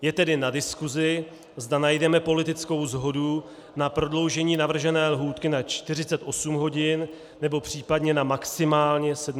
Je tedy na diskusi, zda najdeme politickou shodu na prodloužení navržené lhůty na 48 hodin, nebo případně na maximálně 72 hodin.